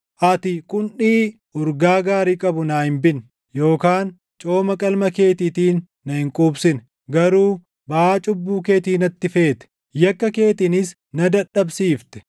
Ati qundhii urgaa gaarii qabu naa hin binne; yookaan cooma qalma keetiitiin na hin quubsine. Garuu baʼaa cubbuu keetii natti feete; yakka keetiinis na dadhabsiifte.